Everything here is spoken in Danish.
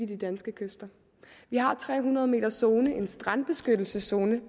de danske kyster vi har en tre hundrede meters zone en strandbeskyttelseszone